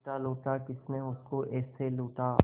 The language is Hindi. लूटा लूटा किसने उसको ऐसे लूटा